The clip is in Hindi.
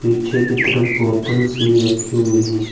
पीछे की तरफ बोतल्स भी रखी हुई है।